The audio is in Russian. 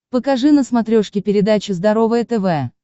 покажи на смотрешке передачу здоровое тв